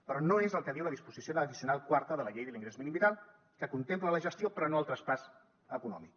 però no és el que diu la disposició addicional quarta de la llei de l’ingrés mínim vital que contempla la gestió però no el traspàs econòmic